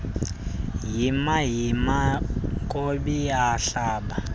yima yima nkobiyahlaba